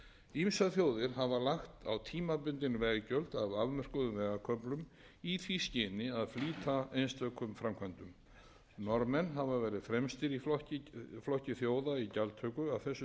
ýmsar þjóðir hafa lagt á tímabundin veggjöld á afmörkuðum vegarköflum í því skyni að flýta einstökum framkvæmdum norðmenn hafa verið fremstir í flokki þjóða í gjaldtöku af þessu tagi